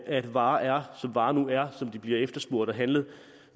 at varer er som varer nu er som de bliver efterspurgt og handlet